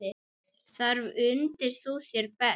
Þar undir þú þér best.